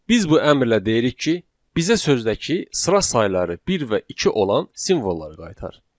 Biz bu əmrlə deyirik ki, bizə sözdəki sıra sayları bir və iki olan simvolları qaytar.